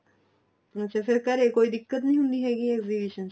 ਅੱਛਾ ਫ਼ਿਰ ਘਰੇ ਕੋਈ ਦਿੱਕਤ ਨਹੀਂ ਹੁੰਦੀ ਹੈਗੀ exhibition ਚ